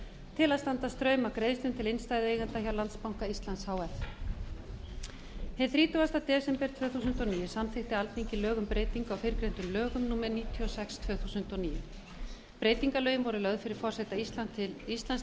til að standa straum af greiðslum til innstæðueigenda hjá landsbanka íslands h f hinn þrítugasti desember tvö þúsund og níu samþykkti alþingi lög um breytingu á fyrrgreindum lögum númer níutíu og sex tvö þúsund og níu breytingarlögin voru lögð fyrir forseta íslands